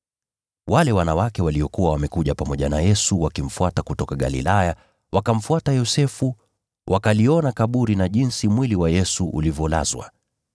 Wale wanawake waliokuwa wamekuja pamoja na Yesu wakimfuata kutoka Galilaya wakamfuata Yosefu, wakaliona kaburi na jinsi mwili wa Yesu ulivyolazwa.